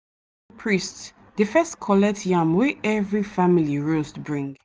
priest dey first collect yam wey every family roast bring.